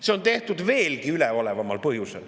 See on tehtud veelgi üleolevamal põhjusel.